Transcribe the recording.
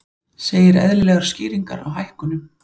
Segir eðlilegar skýringar á hækkunum